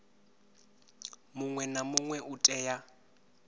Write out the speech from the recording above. muṅwe na muṅwe u tea